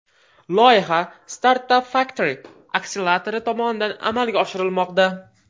Loyiha StartupFactory akseleratori tomonidan amalga oshirilmoqda.